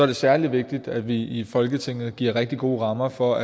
det særlig vigtigt at vi i folketinget giver rigtig gode rammer for